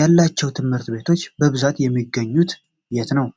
ያላቸው ትምህርት ቤቶች በብዛት የሚገኙት የት ነው?